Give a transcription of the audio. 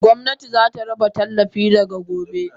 Gomnati zata raba tallafin daga gobe.